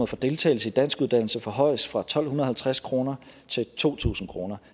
for deltagelse i danskuddannelse forhøjes fra tolv halvtreds kroner til to tusind kroner